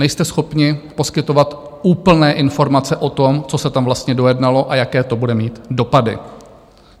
Nejste schopni poskytovat úplné informace o tom, co se tam vlastně dojednalo a jaké to bude mít dopady.